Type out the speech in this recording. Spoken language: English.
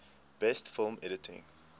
best film editing